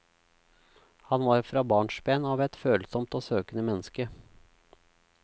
Han var fra barnsben av et følsomt og søkende menneske.